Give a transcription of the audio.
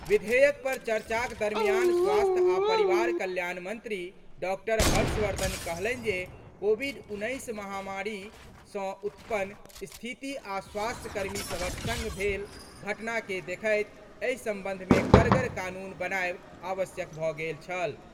विधेयक पर चर्चाक दरमियान स्वास्थ्य आ परिवार कल्याण मंत्री डॉक्टर हर्षवर्धन कहलनि जे कोविड उन्नैस महामारी सँ उत्पन्न स्थिति आ स्वास्थ्यकर्मी सभक सङ्ग भेल घटना केँ देखैत एहि सम्बन्धमे कड़गर कानून बनाएब आवश्यक भऽ गेल छल।